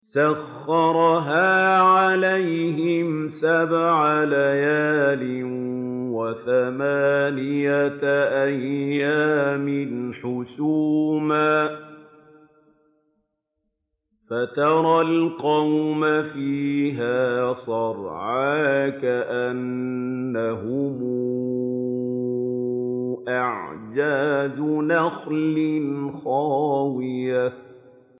سَخَّرَهَا عَلَيْهِمْ سَبْعَ لَيَالٍ وَثَمَانِيَةَ أَيَّامٍ حُسُومًا فَتَرَى الْقَوْمَ فِيهَا صَرْعَىٰ كَأَنَّهُمْ أَعْجَازُ نَخْلٍ خَاوِيَةٍ